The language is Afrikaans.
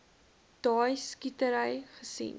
daai skietery gesien